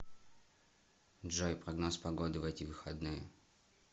джой прогноз погоды в эти выходные